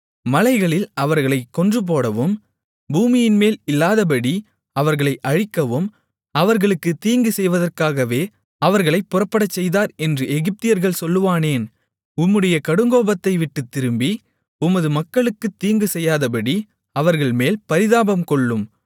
மலைகளில் அவர்களைக் கொன்றுபோடவும் பூமியின்மேல் இல்லாதபடி அவர்களை அழிக்கவும் அவர்களுக்குத் தீங்குசெய்வதற்காகவே அவர்களைப் புறப்படச்செய்தார் என்று எகிப்தியர்கள் சொல்லுவானேன் உம்முடைய கடுங்கோபத்தைவிட்டுத் திரும்பி உமது மக்களுக்குத் தீங்குசெய்யாதபடி அவர்கள்மேல் பரிதாபம்கொள்ளும்